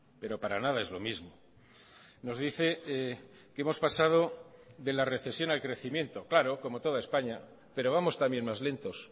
pero para nada es lo mismo nos dice que hemos pasado de la recesión al crecimiento claro como toda españa pero vamos también más lentos